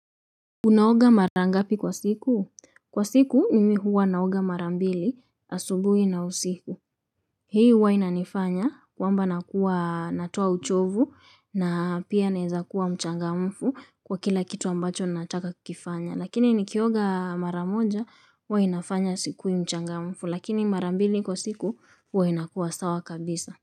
Unaoga marangapi kwa siku? Kwa siku, mimi huwa naoga marambili, asubuhi na usiku. Hii huwa inanifanya kwamba nakua natoa uchovu na pia naeza kuwa mchangamfu kwa kila kitu ambacho nataka kukifanya. Lakini nikioga maramoja, huwa inafanya siku mchangamfu, lakini marambili kwa siku, huwa inakuwa sawa kabisa.